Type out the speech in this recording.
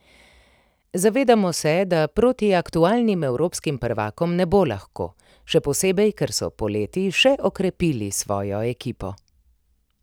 Zavedamo se, da proti aktualnim evropskim prvakom ne bo lahko, še posebej, ker so poleti še okrepili svojo ekipo.